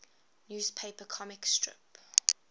newspaper comic strip